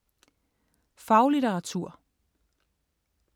Faglitteratur